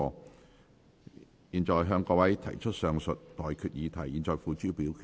我現在向各位提出上述待決議題，付諸表決。